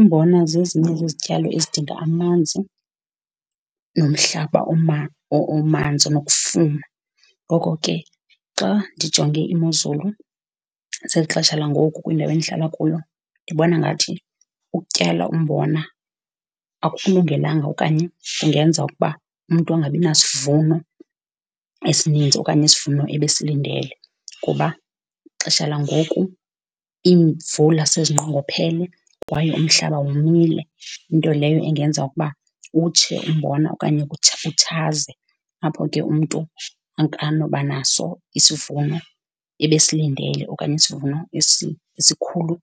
Umbona zezinye zezityalo ezidinga amanzi nomhlaba omanzi onokufuma. Ngoko ke xa ndijonge imozulu zeli xesha langoku kwindawo endihlala kuyo, ndibona ngathi ukutyala umbona akukulungelanga okanye kungenza ukuba umntu angabinasivuno esininzi okanye isivuno ebesilindele. Kuba ixesha langoku iimvula sezinqongophele kwaye umhlaba womile, nto leyo engenza ukuba utshe umbona okanye kutshe, utshazwe. Apho ke umntu akanobanaso isivuno ebesilindele okanye isivuno esikhulu